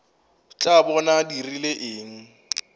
tla bona a dirile eng